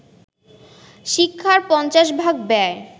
শিক্ষার পঞ্চাশ ভাগ ব্যয়